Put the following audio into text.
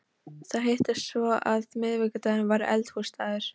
Það hittist svo á að miðvikudagur var Eldhúsdagur.